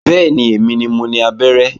Bẹ́ẹ̀ni, èmi ni mo ni abẹ́rẹ́